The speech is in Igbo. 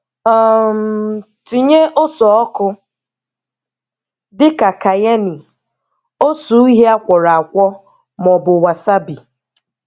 um Tinye ose ọkụ dị ka cayenne, ose uhié akworo akwo maọbụ wasabi